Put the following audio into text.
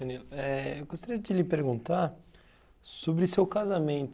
Eh eu gostaria de lhe perguntar sobre o seu casamento.